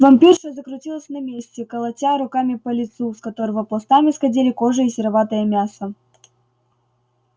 вампирша закрутилась на месте колотя руками по лицу с которого пластами сходили кожа и сероватое мясо